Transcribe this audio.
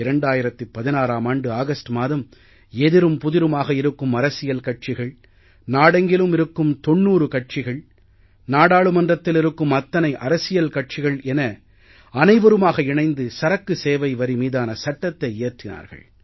2016ஆம் ஆண்டு ஆகஸ்ட் மாதம் எதிரும்புதிருமாக இருக்கும் அரசியல் கட்சிகள் நாடெங்கிலும் இருக்கும் 90 கட்சிகள் நாடாளுமன்றத்தில் இருக்கும் அத்தனை அரசியல் கட்சிகள் என அனைவருமாக இணைந்து சரக்கு சேவை வரி மீதான சட்டத்தை இயற்றினார்கள்